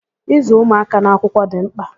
Ịzụ ụmụaka n'akwụkwọ dị mkpà